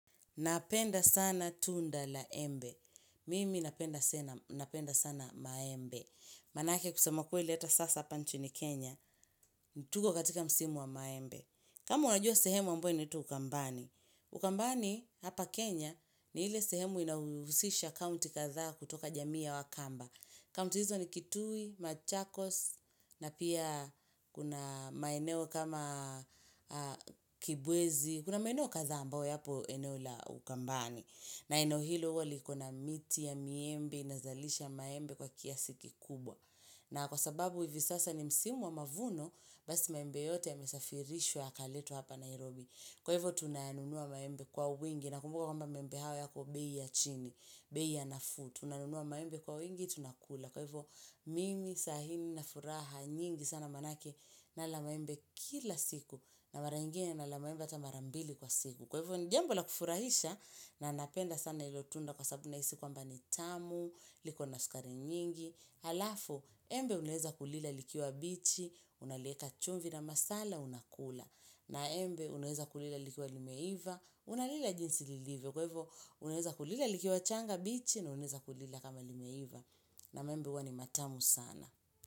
Napenda sana tunda la embe. Mimi napenda sana maembe. Manake kusema ukweli ata sasa hapa nchini Kenya. Tuko katika msimu wa maembe. Kama unajua sehemu ambayo inatwa ukambani, ukambani hapa Kenya ni ile sehemu inayohusisha kaunti kadhaa kutoka jamii ya wakamba. Kaunti hizo ni kitui, machakos, na pia kuna maeneo kama kibwezi, kuna maeneo kadhaa ambayo yapo eneo la ukambani. Na eneo hilo huwa liko na miti ya miembe, inazalisha maembe kwa kiasi kikubwa. Na kwa sababu hivi sasa ni msimu wa mavuno basi maembe yote yamesafirishwa yakaletwa hapa Nairobi. Kwa hivyo tunanunua maembe kwa wingi naukumbuke kwamba maembe haya yako bei ya chini, bei ya nafuu. Tunanunua maembe kwa wingi tunakula. Kwa hivyo mimi sahii nina furaha nyingi sana manake nala maembe kila siku na mara ingine nala maembe ata mara mbili kwa siku. Kwa hivo ni jambo la kufurahisha na napenda sana hilo tunda kwa sababu nahisi kwamba ni tamu, liko na sukari nyingi. Halafu, embe unaeza kulila likiwa bichi, unalieka chumvi na masala, unakula. Na embe unaeza kulila likiwa limeiva, unalila jinsi lilivyo. Kwa hivo unaeza kulila likiwa changa bichi na unaeza kulila kama limeiva. Na maembe huwa ni matamu sana.